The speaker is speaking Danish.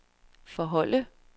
forholde